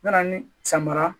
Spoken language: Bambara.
Mana ni caman